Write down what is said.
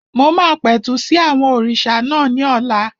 Mo máa pẹ̀tù sí àwọn òrìṣà náà ní ọ̀la